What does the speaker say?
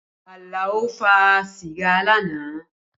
Alao fa sìgá lánàá